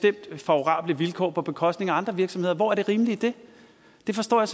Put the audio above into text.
favorable vilkår på bekostning af andre virksomheder hvor er det rimelige i det det forstår jeg